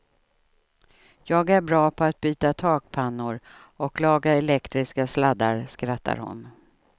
Jag är bra på att byta takpannor och laga elektriska sladdar, skrattar hon.